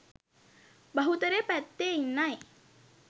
බහුතරය පැත්තේ ඉන්නයි